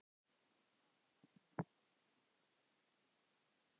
Hvaða náungi var það?